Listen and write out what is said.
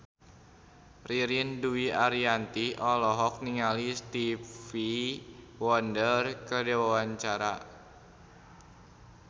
Ririn Dwi Ariyanti olohok ningali Stevie Wonder keur diwawancara